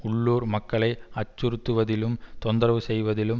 உள்ளூர் மக்களை அச்சுறுத்துவதிலும் தொந்தரவு செய்வதிலும்